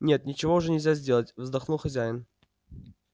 нет ничего уже нельзя сделать вздохнул хозяин